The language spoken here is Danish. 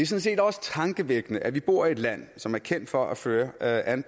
set også tankevækkende at vi bor i et land som er kendt for at føre an